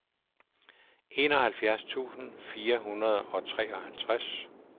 enoghalvfjerds tusind fire hundrede og treoghalvtreds